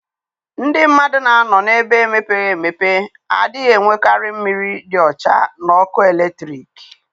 Ndị mmadụ na-anọ na-ebe emepeghị emepe adịghị enwekarị mmiri dị ọcha na ọkụ eletrik.